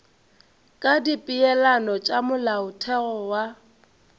ka dipeelano tša molaotheo wa